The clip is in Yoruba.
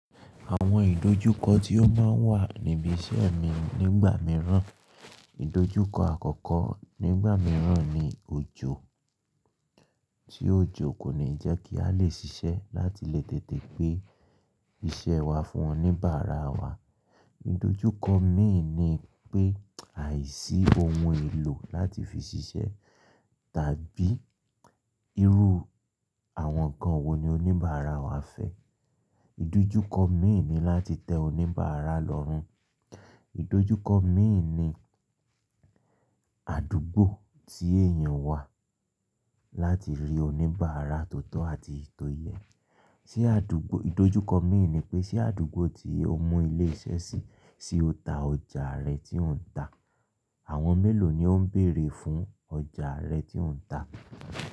Àwọn ìdojúkọ tí ó máa ń wà níbi iṣẹ́ mi nígbà mìíràn, ìdojúkọ àkọ́kọ́ nígbà mìíràn ni òjò, tí òjò kò ní jẹ́ kí a lè ṣiṣẹ́ láti lè tètè gbé iṣẹ́ wa fún oníbàárà wa. Ìdojúkọ mi ni pé aìsí ohun èlò láti fi ṣiṣẹ́ tàbí irú àwọn kan wo ni oníbàárà wa fẹ́. Ìdojúkọ mi ni láti tẹ oníbàárà lọ́rùn. Ìdojúkọ mi ni àdúgbò tí èèyàn wà láti rí oníbàárà tó tọ́ àti tó yẹ. Ti àdúgbò, ìdojúkọ mi ni pé ṣé àdúgbò tí ó mú ilé iṣẹ́ sí, ṣe ó ta ọjà rẹ̀ tí ò ń ta? Àwọn mélòó ni ó ń bèrè fún ọjà rẹ tí ò ń ta?